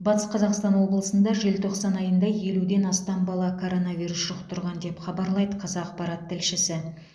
батыс қазақстан облысында желтоқсан айында елуден астам бала коронавирус жұқтырған деп хабарлайды қазақпарат тілшісі